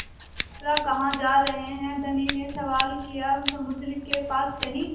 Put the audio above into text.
यात्रा कहाँ जा रहे हैं धनी ने सवाल किया समुद्र के पास कहीं